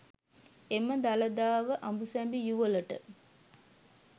එම දළදාව අඹුසැමි යුවළට